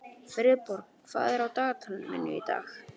Friðborg, hvað er á dagatalinu mínu í dag?